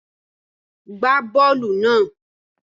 Gbá bọ́ọ́lù náà!